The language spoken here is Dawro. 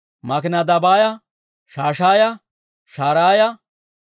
Makinadabaaya, Shashaaya, Sharaaya,